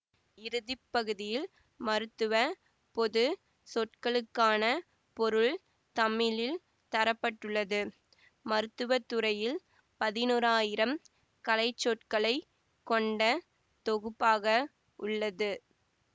இறுதிப்பகுதியில் மருத்துவ பொது சொற்களுக்கான பொருள் தமிழில் தர பட்டுள்ளது மருத்துவத்துறையில் பதினொராயிரம் கலைச்சொற்களைக் கொண்ட தொகுப்பாக உள்ளது